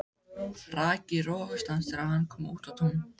Rak í rogastans þegar hann kom út á Tún.